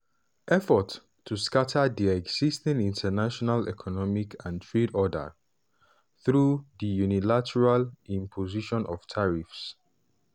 [effort to] scata di existing international economic and trade order" through di unilateral imposition of tariffs.